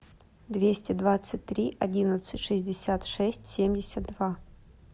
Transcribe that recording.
двести двадцать три одиннадцать шестьдесят шесть семьдесят два